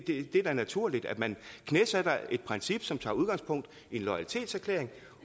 er da naturligt at man knæsætter et princip som tager udgangspunkt i en loyalitetserklæring